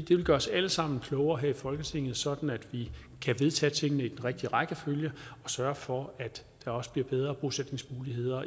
det vil gøre os alle sammen klogere her i folketinget sådan at vi kan vedtage tingene i den rigtige rækkefølge og sørge for at der også bliver bedre bosætningsmuligheder